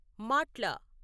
మాట్ల